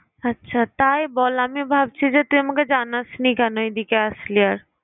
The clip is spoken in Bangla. আচ্ছা তাই বল। আমি ভাবছি তুই আমাকে জানাসনি কেন এদিকে আসলি আর